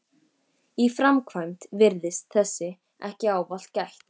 Í framkvæmd virðist þessa ekki ávallt gætt.